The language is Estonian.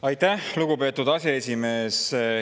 Aitäh, lugupeetud aseesimees!